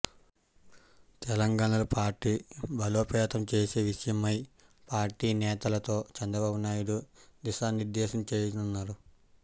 తెలంగాణలో పార్టీ బలోపేతం చేసే విషయమై పార్టీ నేతలతో చంద్రబాబునాయుడు దిశా నిర్ధేశం చేయనున్నారు